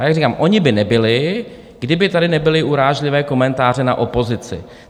A jak říkám, ony by nebyly, kdyby tady nebyly urážlivé komentáře na opozici.